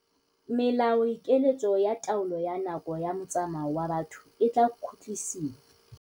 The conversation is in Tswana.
Melaokiletso ya taolo ya nako ya motsamao wa batho e tla khutlisiwa.